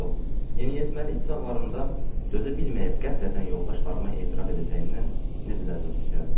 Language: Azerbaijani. Oh, yeniyetməlik çağlarımda dözə bilməyib qəflətən yoldaşlarıma etiraf edəcəyimdən necə də əzab çəkərdim.